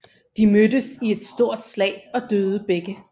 De mødtes i et stort slag og døde begge